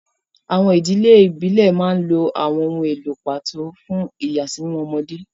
Àwọn ìdílé ìbílẹ̀ máa ń lo àwọn ohun èlò pàtó fún ìyàsímímọ́ ọmọdé.